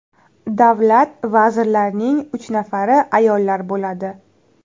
Davlat vazirlarining uch nafari ayollar bo‘ladi.